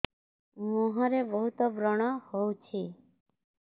ମୁଁହରେ ବହୁତ ବ୍ରଣ ହଉଛି